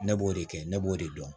Ne b'o de kɛ ne b'o de dɔn